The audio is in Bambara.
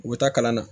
U bɛ taa kalan na